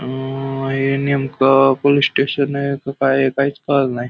अह हे नेमकं पोलिस स्टेशन आहे की काय आहे काहीच कळलेलं नाही.